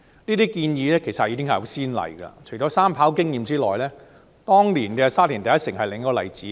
這些建議已經有先例，除了三跑的經驗之外，當年的"沙田第一城"就是另一個例子。